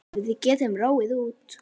Við getum róið út.